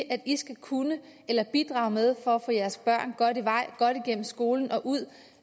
at de skal kunne eller bidrage med for at få deres børn godt i vej godt igennem skolen og ud